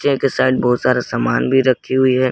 एक साइड बहुत सारा सामान भी रखी हुई है।